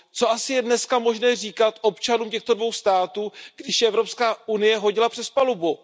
Co asi je dneska možné říkat občanům těchto dvou států, když je Evropská unie hodila přes palubu?